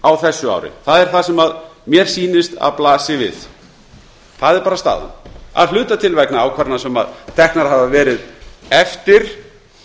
á þessu ári það er það sem mér sýnist að blasi við sú er bara staðan að hluta til vegna ákvarðana sem teknar hafa verið eftir